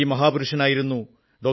ഈ മാഹാപുരുഷനായിരുന്നു ഡോ